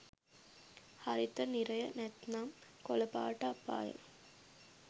හරිත නිරය නැත්නම් කොළපාට අපාය